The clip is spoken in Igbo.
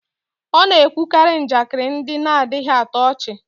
ọ na-ekwukarị njakịrị ndị na-adịghị atọ ọchị